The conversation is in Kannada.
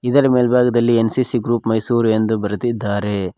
ಇದರ ಮೇಲ್ಭಾಗದಲ್ಲಿ ಎನ್_ಸಿ_ಸಿ ಗ್ರೂಪ್ ಮೈಸೂರ್ ಎಂದು ಬರೆದಿದ್ದಾರೆ.